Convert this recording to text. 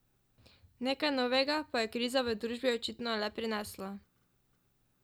Nekaj novega pa je kriza v družbi očitno le prinesla.